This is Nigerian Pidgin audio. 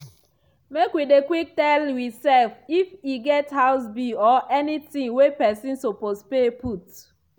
make wi dey quick tell we self if e get house bill or anything wey pesin suppose pay put.